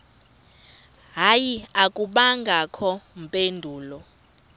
hayi akubangakho mpendulo